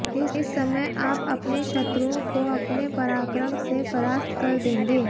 इस समय आप अपने शत्रुओं को अपने पराक्रम से परास्त कर देंगे